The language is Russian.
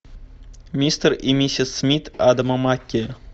мистер и миссис смит адама маккей